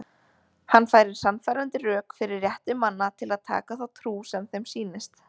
Hann færir sannfærandi rök fyrir rétti manna til að taka þá trú sem þeim sýnist.